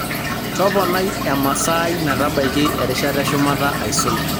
toponai emasaai metabaiki erishata eshumata aisul